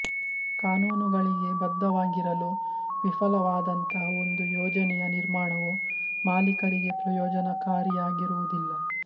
ಕಾನೂನುಗಳಿಗೆ ಬದ್ಧವಾಗಿರಲು ವಿಫಲವಾದಂತಹ ಒಂದು ಯೋಜನೆಯ ನಿರ್ಮಾಣವು ಮಾಲಿಕರಿಗೆ ಪ್ರಯೋಜನಕಾರಿಯಾಗಿರುವುದಿಲ್ಲ